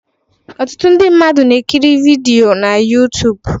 Ọtụtụ ndị mmadụ na-ekiri vidiyo na youtube